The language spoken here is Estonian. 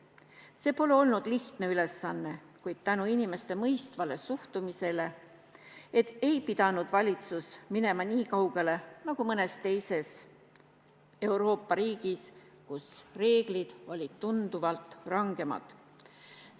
See pole olnud lihtne ülesanne, kuid tänu inimeste mõistvale suhtumisele ei pidanud valitsus minema nii kaugele nagu mõnes teises Euroopa riigis, kus reeglid olid tunduvalt rangemad.